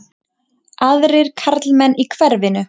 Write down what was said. Aðrir karlmenn í hverfinu?